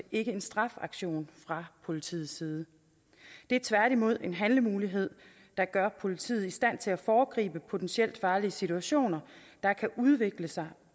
ikke en straffeaktion fra politiets side det er tværtimod en handlemulighed der gør politiet i stand til at foregribe potentielt farlige situationer der kan udvikle sig